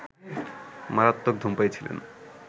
মারাত্মক ধূমপায়ী ছিলেন